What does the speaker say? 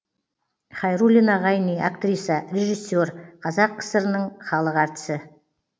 хайруллина ғайни актриса режиссер қазақ кср інің халық артисі